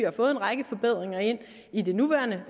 har fået en række forbedringer ind i det nuværende